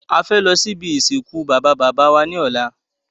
A fẹ́ lọ sí ibi ìsìnkú Baba bàbá wa ní ọ̀lá